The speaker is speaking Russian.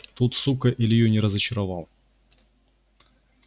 тут сука илью не разочаровал